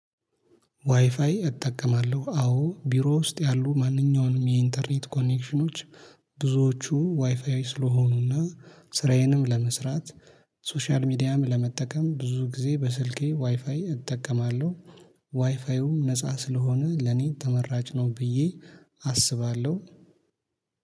ዋይፋይ እጠቀማለሁ አዎ ቢሮ ውስጥ ያሉ ማንኛውንም የኢንተርኔት ኮኔክሽኖች ብዙዎቹ ዋይፋይ ስለሆኑና ስራዬንም ለመስራት ሶሻል ሚዲያም ለመጠቀም ብዙ ጊዜ በስልኬ ዋይፋይ እጠቀማለሁ። ዋይፋዩም ነፃ ስለሆነ ለኔ ተመራጭ ነው ብዬ አስባለሁ